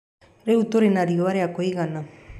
Rĩu tũrĩ na riũa rĩa kũigana.